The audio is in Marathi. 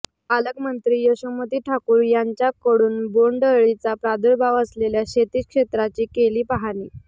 पालकमंत्री यशोमती ठाकूर यांच्याकडून बोंडअळीचा प्रादुर्भाव असलेल्या शेती क्षेत्राची केली पाहणी